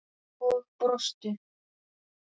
Og brostu.